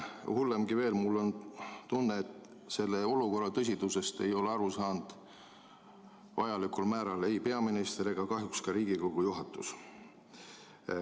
Hullemgi veel, mul on tunne, et selle olukorra tõsidusest ei ole vajalikul määral aru saanud ei peaminister ega kahjuks ka Riigikogu juhatus.